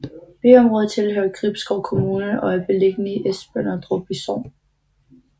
Byområdet tilhører Gribskov Kommune og er beliggende i Esbønderup Sogn